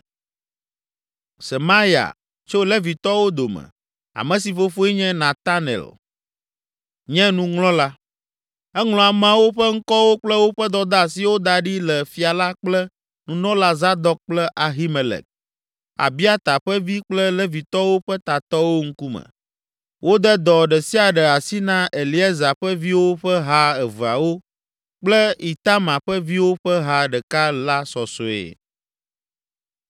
Semaya, tso Levitɔwo dome, ame si fofoe nye Netanel la, nye nuŋlɔla. Eŋlɔ ameawo ƒe ŋkɔwo kple woƒe dɔdeasiwo da ɖi le fia la kple Nunɔla Zadok kple Ahimelek, Abiata ƒe vi kple Levitɔwo ƒe tatɔwo ŋkume. Wode dɔ ɖe sia ɖe asi na Eleazar ƒe viwo ƒe ha eveawo kple Itamar ƒe viwo ƒe ha ɖeka la sɔsɔe.